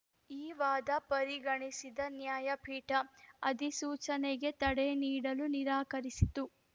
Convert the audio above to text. ಈ ವಾದ ಪರಿಗಣಿಸಿದ ನ್ಯಾಯಪೀಠ ಅಧಿಸೂಚನೆಗೆ ತಡೆ ನೀಡಲು ನಿರಾಕರಿಸಿತು